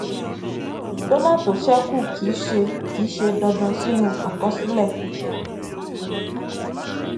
dọlà tó ṣẹkù kì í ṣe kì í ṣe dandan sínú àkọsílẹ